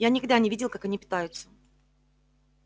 я никогда не видел как они питаются